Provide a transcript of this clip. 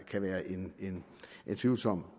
kan være en tvivlsom